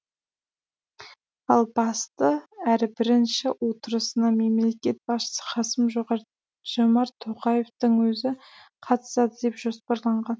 ал басты әрі бірінші отырысына мемлекет басшысы қасым жомарт тоқаевтың өзі қатысады деп жоспарланған